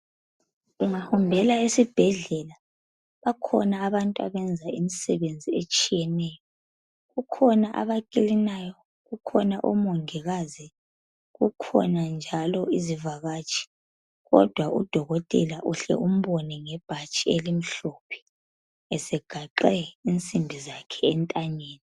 Ungahambela esibhedlela bakhona abantu abenza imisebenzi etshiyeneyo. Kukhona abakilinayo, kukhona omongikazi. Kukhona njalo izivakatshi, kodwa udokotela uhle umbone ngebhathi elimhlophe esegaxe insimbi zakhe entanyeni.